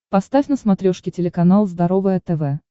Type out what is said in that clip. поставь на смотрешке телеканал здоровое тв